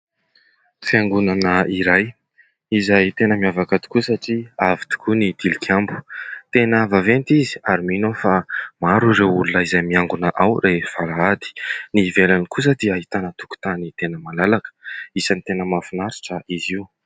Fiangonana iray izay tena miavaka tokoa satria avo tokoa ny tilikambo. Tena vaventy izy ary mino aho fa maro ireo olona izay miangona ao rehefa alahady. Ny ivelany kosa dia ahitana tokotany tena malalaka. Isany tena mahafinaritra izy io.